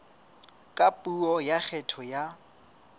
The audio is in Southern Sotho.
ka puo ya kgetho ya